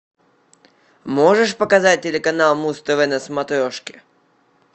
можешь показать телеканал муз тв на смотрешке